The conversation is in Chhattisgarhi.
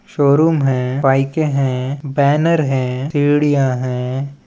शोरूम है बाइके है बैनर है सिडिया है।